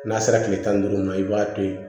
N'a sera kile tan ni duuru ma i b'a to yen